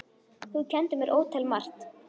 Þú kenndir mér ótal margt.